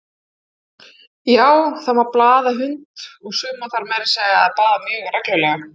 Já, það má baða hunda, og suma þarf meira að segja að baða mjög reglulega!